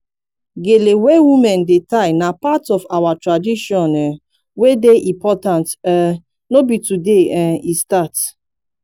gele wey women dey tie na part of our tradition um wey dey important um no be today um e start